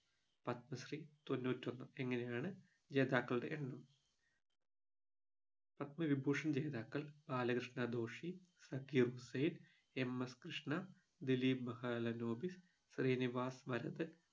പത്മശ്രീ തൊണ്ണൂറ്റി ഒന്ന് ഇങ്ങനെയാണ് ജേതാക്കളുടെ എണ്ണം പത്മവിഭൂഷൺ ജേതാക്കൾ ബാലകൃഷ്ണ ദോഷി സഖിയുഗ് സേറ്റ് M S Krishna Dilip Mahalanobis Srinivas Varadan